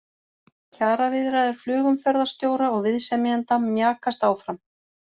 Kjaraviðræður flugumferðarstjóra og viðsemjenda mjakast áfram